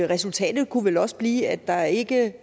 resultatet kunne vel også blive at der ikke